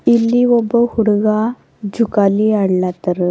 ಇಲ್ಲಿ ಒಬ್ಬ ಹುಡುಗ ಜೊಕಾಲಿ ಅಡ್ಲಾತ್ತಾರ.